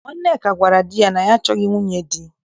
Nwanneka gwarav di ya na ya achọghị nwunye di.